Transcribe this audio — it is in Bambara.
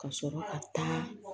Ka sɔrɔ ka taa